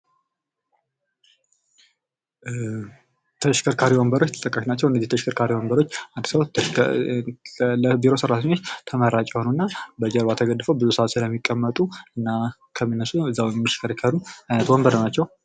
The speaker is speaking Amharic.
ተሽከርካሪ ወንበሮች ተጠቃሽ ናቸው::እነዚህ ተሽከርካሪ ወንበሮች አዲስ አበባ ውስጥ ለቢሮ ሰራተኞች ተመራጭ ይሆኑና በጀርባ ተደግፈው ብዙ ሰዓትስ ለሚቀመጡና ከሚነሱና እዛው እንዲሽከረከሩ ወንበሮች ናቸው::